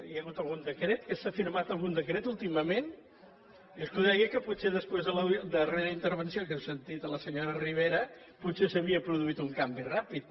hi ha hagut algun decret que s’ha firmat algun decret últimament és que ho deia perquè potser després de la darrera intervenció que hem sentit a la senyora ribera potser s’havia produït un canvi ràpid